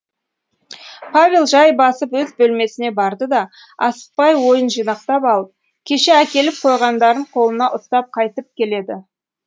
павел жай басып өз бөлмесіне барды да асықпай ойын жинақтап алып кеше әкеліп қойғандарын қолына ұстап қайтып келді